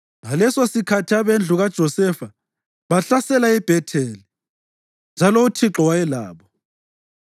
Ngalesosikhathi abendlu kaJosefa bahlasela iBhetheli, njalo uThixo wayelabo.